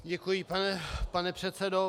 Děkuji, pane předsedo.